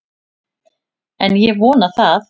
En ég vona það!